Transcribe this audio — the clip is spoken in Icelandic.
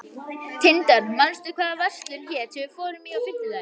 Tindar, manstu hvað verslunin hét sem við fórum í á fimmtudaginn?